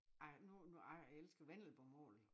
Jeg nu nu jeg elsker vendelbomål ik